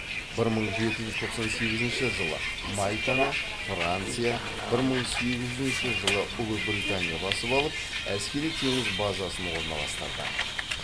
бір мың жеті жүз тоқсан сегізінші жылы мальтаны франция бір мың сегізінші жылы ұлыбритания басып алып әскери теңіз базасын орналастырды